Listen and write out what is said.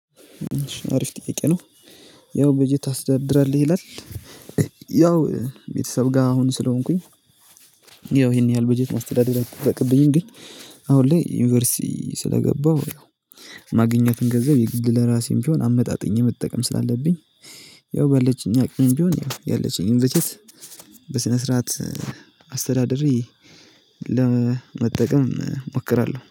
አሪፍ ጥያቄ ነው። ያው በጀት ታስተዳድራለህ? ይላል ያው ቤተሰብ ጋር አሁን ስለሆንኩኝ ያው ይሄን ያህል በጀት ማስተዳደር አይጠበቅብኝም ግን አሁን ላይ ዩኒቨርሲቲ ስለገባሁ ማግኘትን ገንዘብ የግድ ለራሴም ቢሆን አመጣጥኜ መጠቀም ስላለብኝ ያው ባለችኝ አቅም ቢሆን ያለችኝ በጀት በስነ ስርዓት አስተዳደሬ ለመጠቀም እሞክራለሁ።